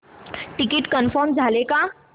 ticket confirm झाले का